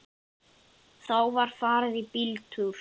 Þá var farið í bíltúr.